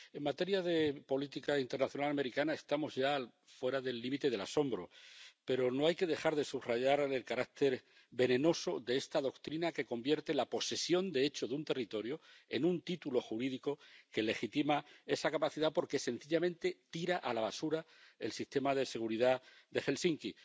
En materia de política internacional americana estamos ya fuera del límite del asombro, pero no hay que dejar de subrayar el carácter venenoso de esta doctrina que convierte la posesión de hecho de un territorio en un título jurídico que legitima esa capacidad porque, sencillamente, tira a la basura el sistema de seguridad de Helsinki.